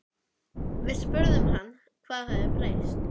Við spurðum hann hvað hafi breyst?